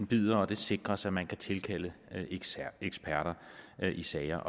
bider og det sikres at man kan tilkalde eksperter i sager